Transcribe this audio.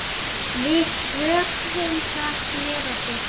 Við tökum það með okkur.